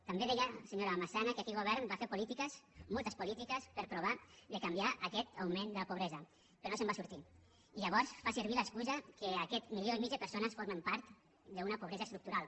també deia senyora massana que aquell govern va fer polítiques moltes polítiques per provar de canviar aquest augment de la pobresa però no se’n va sortir i llavors fa servir l’excusa que aquest milió i mig de persones formen part d’una pobresa estructural